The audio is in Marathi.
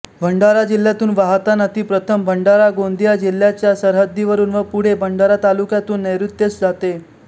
भंडारा जिल्ह्यातून वाहताना ती प्रथम भंडारागोंदिया जिल्ह्यांच्या सरहद्दीवरून व पुढे भंडारा तालुक्यातून नैर्ऋत्येस जाते